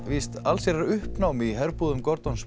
allsherjar uppnám í herbúðum